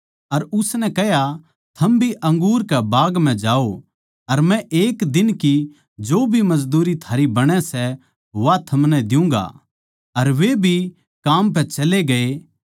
अर उसनै कह्या थम भी अंगूर के बाग म्ह जाओ अर मै एक दिन की जो भी मजदूरी थारी बणै सै वा थमनै दियुँगा अर वे भी काम पै चले गये